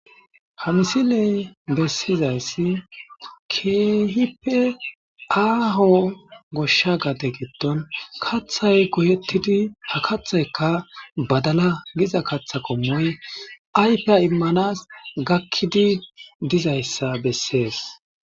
ha misiley bessizayssi keehipe aaho goshsha gade gitdon kathay goyettidi ha kathaykka badala giza katha qommoy aypeya immanas gakkidi dizayssa bessees